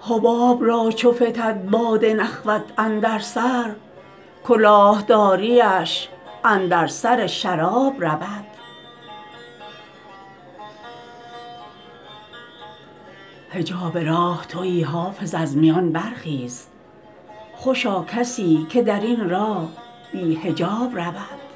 حباب را چو فتد باد نخوت اندر سر کلاه داریش اندر سر شراب رود حجاب راه تویی حافظ از میان برخیز خوشا کسی که در این راه بی حجاب رود